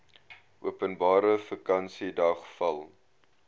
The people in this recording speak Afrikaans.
openbare vakansiedag val